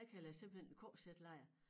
Jeg kalder det simpelthen en KZ-lejr